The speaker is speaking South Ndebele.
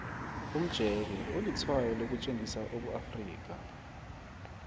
umjeke ulitshwayo lokutjengisa ubuafrika